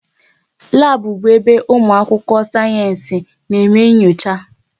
Labu bụ ebe ụmụ akwụkwọ sayensị na eme nyocha